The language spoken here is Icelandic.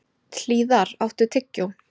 Hlíðar, áttu tyggjó?